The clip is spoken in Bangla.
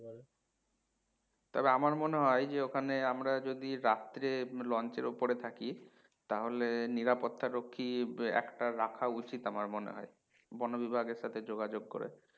তবে আমার মনে হয় যে ওখানে আমরা যদি রাত্রে launch এর ওপরে থাকি তাহলে নিরাপত্তারক্ষী একটা রাখা উচিত আমার মনে হয় বনবিভাগের সাথে যোগাযোগ করে